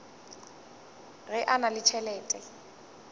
ge a na le tšhelete